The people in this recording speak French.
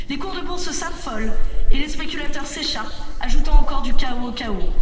Les cours de la bourse s'affolent et les spéculateurs s'écharpent, ajoutant encore du chaos